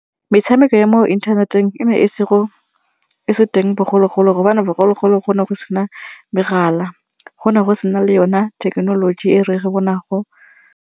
Metshameko ya mo inthaneteng e ne e se teng bogologolo gobane bogologolo go ne go sena megala go ne go sena le yone thekenoloji e bonako.